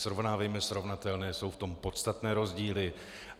Srovnávejme srovnatelné, jsou v tom podstatné rozdíly.